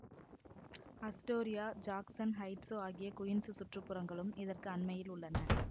Astoria Jackson Heights ஆகிய Queens சுற்றுப்புறங்களும் இதற்கு அண்மையில் உள்ளன